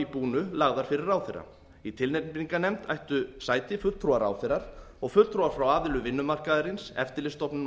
búnu lagðar fyrir ráðherra í tilnefningarnefnd ættu sæti fulltrúi ráðherra og fulltrúar frá aðilum vinnumarkaðarins eftirlitsstofnunum og